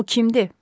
O kimdir?